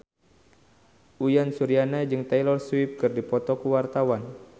Uyan Suryana jeung Taylor Swift keur dipoto ku wartawan